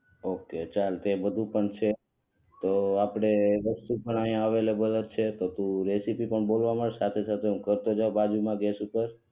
okay ચાલ તે બધુ પણ છે તો આપણે વસ્તુ પણ અહી અવૈલેબલ છે તો તુ રેસીપી પણ બોલવા માંડ સાથે સાથે હું કરતો જાવ બાજુમાં ગેસ ઉપર